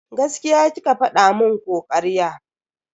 Gaskiya kike fada mun ko karya?